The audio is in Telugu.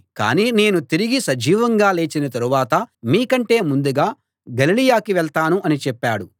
కాని నేను తిరిగి సజీవంగా లేచిన తరువాత మీకంటే ముందుగా గలిలయకి వెళ్తాను అని చెప్పాడు